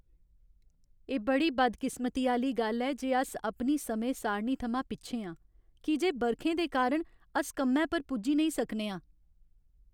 एह् बड़ी बदकिस्मती दी गल्ल ऐ जे अस अपनी समें सारणी थमां पिच्छें आं की जे बरखें दे कारण अस कम्मै पर पुज्जी नेईं सकने आं।